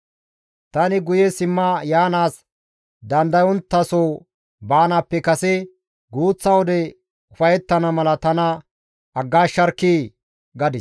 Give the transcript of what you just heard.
Tani guye simma yaanaas dandayonttaso baanaappe kase guuththa wode ufayettana mala tana aggaasharkkii!» gadis.